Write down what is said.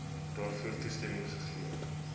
daarvoor toestemming gegee